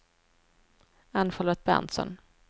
Ann-Charlotte Berntsson